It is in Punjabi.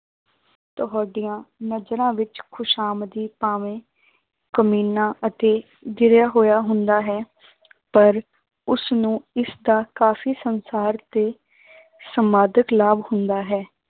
ਤੁਹਾਡੀਆਂ ਨਜ਼ਰਾਂ ਵਿੱਚ ਖ਼ੁਸ਼ਾਮਦੀ ਭਾਵੇਂ ਕਮੀਨਾ ਅਤੇ ਗਿਰਿਆ ਹੋਇਆ ਹੁੰਦਾ ਹੈ ਪਰ ਉਸਨੂੰ ਇਸਦਾ ਕਾਫ਼ੀ ਸੰਸਾਰ ਤੇ ਸਮਾਧਕ ਲਾਭ ਹੁੰਦਾ ਹੈ।